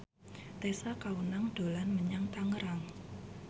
Tessa Kaunang dolan menyang Tangerang